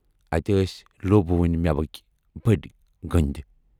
اتہِ ٲسۍ لوٗبہٕ ؤنۍ مٮ۪وٕکۍ بٔڑۍ گٔنٛدۍ۔